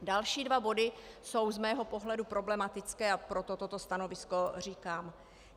Další dva body jsou z mého pohledu problematické, a proto toto stanovisko říkám.